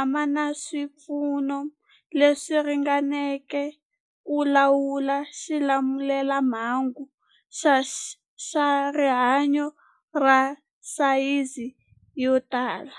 a ma na swipfuno leswi ringaneleke ku lawula xilamulelamhangu xa rihanyu xa sayizi yo tani.